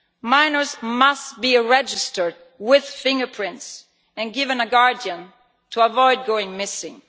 Minors must be registered with fingerprints and given a guardian to avoid going missing.